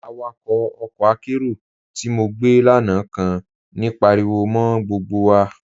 Awàkọ̀ ọkọ́ àkéró tí mo gbẹ́ lánà kàn ní páríwọ̀ mọ́ gbógbo wà.